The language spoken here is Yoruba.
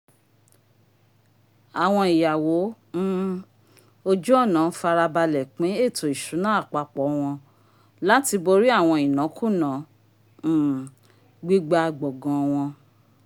awọn iyawo um ojú ọnà farabalẹ pin ètó ìṣúná àpapọ wọn láti borí awọn inakuna um gbigba gbọgán wọn